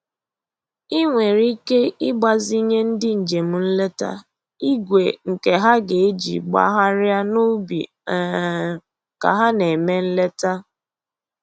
I nwere ike igbazinye ndị njem nleta igwe nke ha ga-eji gbagharịa n'ubi um ka ha na-eme nleta